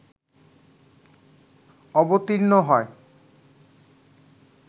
অবতীর্ণ হয়